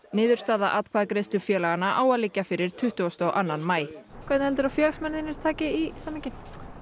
niðurstaða atkvæðagreiðslu félaganna á að liggja fyrir tuttugustu og annan maí hvernig heldurðu að félagsmenn þínir taki í samninginn